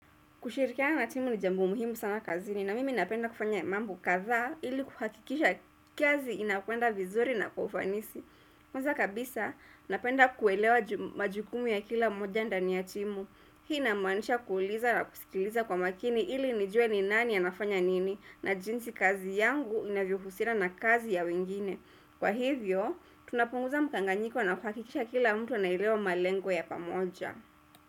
Kushirikiana na timu ni jambo muhimu sana kazi ni na mimi napenda kufanya mambo kadhaa ili kuhakikisha kazi inakwenda vizuri na kwa ufanisi. Kwanza kabisa napenda kuelewa majukumu ya kila mmoja ndani ya timu. Hii inamaanisha kuuliza na kusikiliza kwa makini ili nijue ni nani anafanya nini na jinsi kazi yangu inavyo husira na kazi ya wengine. Kwa hivyo, tunapunguza mkanganyiko na kuhakikisha kila mtu ana elewa malengo ya pamoja.